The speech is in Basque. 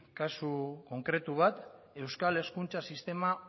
kasu konkretu bat euskal hezkuntza sistema